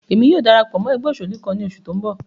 Emi yóò darapọ mọ ẹgbẹ oṣelu kan ni oṣu ti n bọ